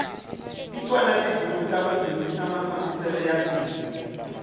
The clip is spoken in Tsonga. tikona tibuku ta ku dyondzisa mafambiselo ya bindzu